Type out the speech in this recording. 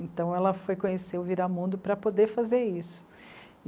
Então ela foi conhecer o Viramundo para poder fazer isso.